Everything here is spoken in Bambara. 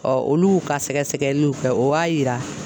olu y'u ka sɛgɛsɛgɛliw kɛ o w'a yira